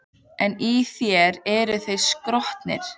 En í þér eru þeir stroknir.